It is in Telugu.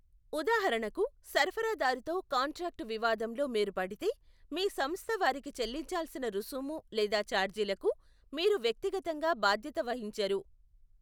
ఉదాహరణకు, సరఫరాదారుతో కాంట్రాక్టు వివాదంలో మీరు పడితే, మీ సంస్థ వారికి చెల్లించాల్సిన రుసుము లేదా ఛార్జీలకు మీరు వ్యక్తిగతంగా బాధ్యత వహించరు.